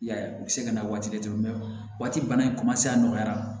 I y'a ye u bɛ se ka na waati di waati bana in a nɔgɔyara